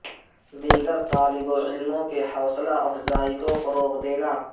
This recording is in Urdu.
دیگر طالب علموں کے حوصلہ افزائی کو فروغ دینا